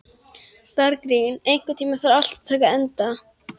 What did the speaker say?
Bergrín, einhvern tímann þarf allt að taka enda.